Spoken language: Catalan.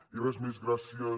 i res més gràcies